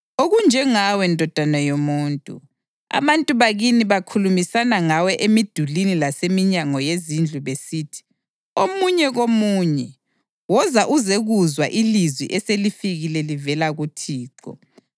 Okunjengawe, ndodana yomuntu, abantu bakini bakhulumisana ngawe emidulini laseminyango yezindlu besithi, omunye komunye, ‘Woza uzekuzwa ilizwi eselifike livela kuThixo.’